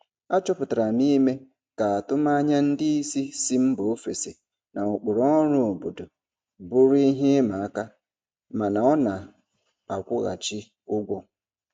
Achọpụtara m ime ka atụmanya ndị isi si mba ofesi na ụkpụrụ ọrụ obodo bụrụ ihe ịma aka mana ọ na-akwụghachi ụgwọ.